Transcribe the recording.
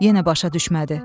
Yenə başa düşmədi.